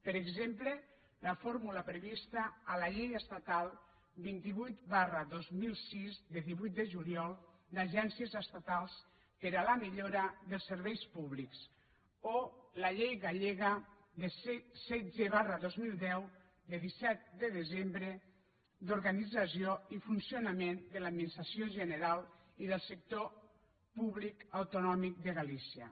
per exemple la fórmula prevista a la llei estatal vint vuit dos mil sis de divuit de juliol d’agències estatals per a la millora de serveis públics o la llei gallega setze dos mil deu de disset de desembre d’organització i funcionament de l’administració general i del sector públic autonòmic de galícia